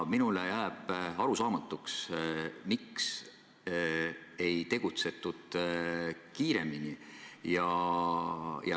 Minule jääb arusaamatuks, miks ei tegutsetud kiiremini.